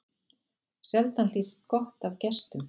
Sjaldan hlýst gott af gestum.